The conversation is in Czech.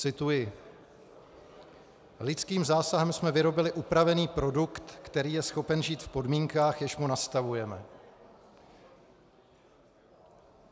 Cituji: "Lidským zásahem jsme vyrobili upravený produkt, který je schopen žít v podmínkách, jež mu nastavujeme."